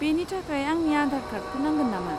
बेनि थाखाय आंनि आधार कार्डखौ नांगोन नामा?